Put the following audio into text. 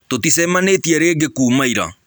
Tũtĩcemanĩtĩe rĩngĩ kũma ĩra